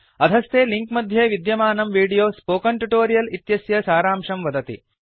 अधस्थे लिंक मध्ये विद्यमानं वीडियो स्पोकन ट्युटोरियल् इत्यस्य सारांशं वदति